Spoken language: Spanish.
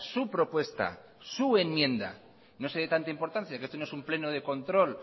su propuesta su enmienda no se dé tanta importancia que esto no es un pleno de control